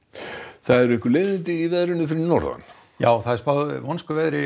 það eru leiðindi í veðri fyrir norðan já vonskuveður í